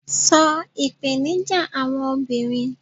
so ipenija àwọn obinrin